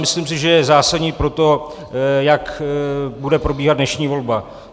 Myslím si, že je zásadní pro to, jak bude probíhat dnešní volba.